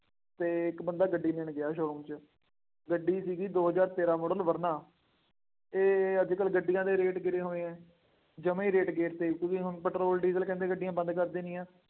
ਅਤੇ ਇੱਕ ਬੰਦਾ ਗੱਡੀ ਲੈਣ ਗਿਆ showroom ਚ, ਗੱਡੀ ਸੀਗੀ ਦੋ ਹਜ਼ਾਰ ਤੇਰਾਂ ਮਾਡਲ ਵਰਨਾ, ਅਤੇ ਅੱਜ ਕੱਲ੍ਹ ਗੱਡੀਆਂ ਦੇ ਰੇਟ ਗਿਰੇ ਹੋਏ ਹੈ, ਜਮ੍ਹਾ ਹੀ ਰੇਟ ਗੇਰ ਤੇ, ਜਿਵੇਂ ਹੁਣ ਪੈਟਰੋਲ, ਡੀਜ਼ਲ, ਕਹਿੰਦੇ ਗੱਡੀਆਂ ਬੰਦ ਕਰ ਦੇਣੀਆਂ।